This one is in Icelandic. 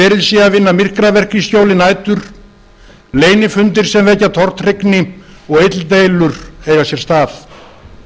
verið sé að vinna myrkraverk í skjóli nætur leynifundir sem vekja tortryggni og illdeilur eiga sér stað